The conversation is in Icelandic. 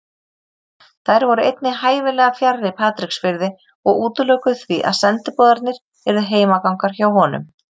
Þær voru einnig hæfilega fjarri Patreksfirði og útilokuðu því að sendiboðarnir yrðu heimagangar hjá honum.